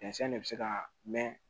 de bɛ se ka mɛɛn